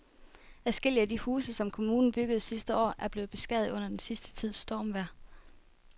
Adskillige af de huse, som kommunen byggede sidste år, er blevet beskadiget under den sidste tids stormvejr.